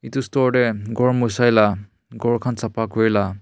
itu store te ghor moshai la ghor khan sapha kure la--